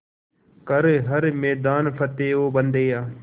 कर हर मैदान फ़तेह ओ बंदेया